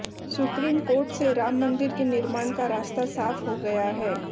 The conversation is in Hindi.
सुप्रीम कोर्ट से राम मंदिर के निर्माण का रास्ता साफ हो गया है